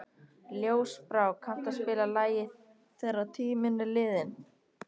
Ljósbrá, kanntu að spila lagið „Þegar tíminn er liðinn“?